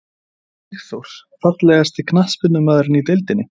Kolli Sigþórs Fallegasti knattspyrnumaðurinn í deildinni?